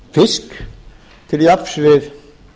fisk til jafns við